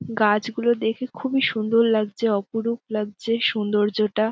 গাছগুলো দেখে খুবই সুন্দর লাগছে অপরূপ লাগছে সৌন্দর্যটা--